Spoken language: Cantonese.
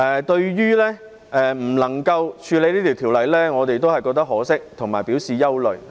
對於不能處理這項條例，我們感到可惜和表示憂慮。